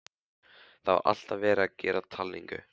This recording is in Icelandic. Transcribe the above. Það var alltaf verið að gera talningu.